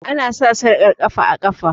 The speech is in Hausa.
Ana sa sarƙar ƙafa a ƙafa